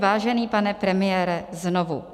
Vážený pane premiére, znovu.